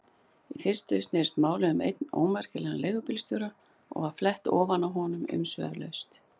Í fyrstu snerist málið um einn ómerkilegan leigubílstjóra og var flett ofan af honum umsvifalaust.